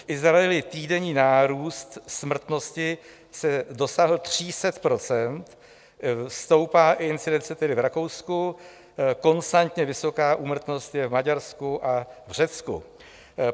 V Izraeli týdenní nárůst smrtnosti dosáhl 300 %, stoupá incidence tedy v Rakousku, konstantně vysoká úmrtnost je v Maďarsku a v Řecku.